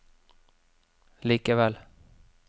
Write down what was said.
likevel